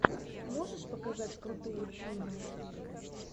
можешь показать крутые фильмы